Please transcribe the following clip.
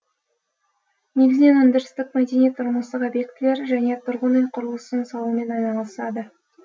негізінен өндірістік мәдени тұрмыстық объектілер және тұрғын үй құрылысын салумен айналысады